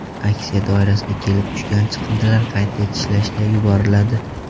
Aksiya doirasida kelib tushgan chiqindilar qayta ishlashga yuboriladi.